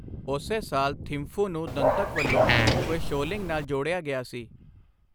ਉਸੇ ਸਾਲ, ਥਿੰਫੂ ਨੂੰ ਦੰਤਕ ਵੱਲੋਂ ਫੁਏਂਸ਼ੋਲਿੰਗ ਨਾਲ ਜੋੜਿਆ ਗਿਆ ਸੀ।